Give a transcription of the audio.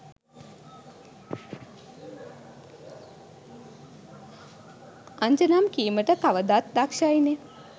අන්ජනම් කීමට කවදත් දක්ශයිනෙ.